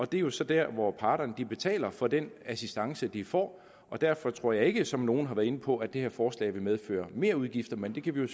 det er jo så dér hvor parterne betaler for den assistance de får og derfor tror jeg ikke som nogle har været inde på at det her forslag vil medføre merudgifter men det kan vi jo